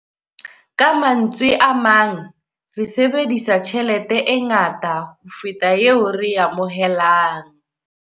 Ka mantswe a mang, re sebedisa tjhelete e ngata ho feta eo re e amohelang.